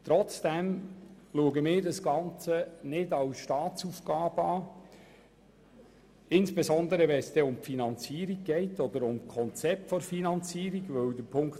Trotzdem sehen wir das Ganze nicht als Staatsaufgabe an, insbesondere wenn es um die Finanzierung beziehungsweise das Finanzierungskonzept geht.